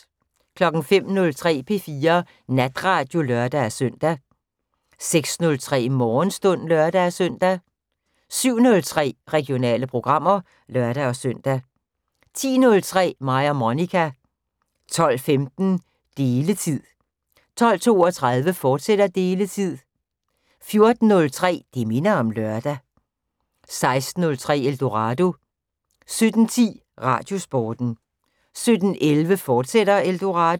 05:03: P4 Natradio (lør-søn) 06:03: Morgenstund (lør-søn) 07:03: Regionale programmer (lør-søn) 10:03: Mig og Monica 12:15: Deletid 12:32: Deletid, fortsat 14:03: Det minder om lørdag 16:03: Eldorado 17:10: Radiosporten 17:11: Eldorado, fortsat